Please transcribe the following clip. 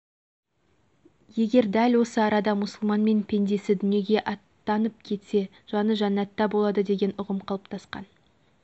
егер дәл осы арада мұсылмен пендесі дүниеге аттанып кетсе жаны жәннатта болады деген ұғым қалыптасқан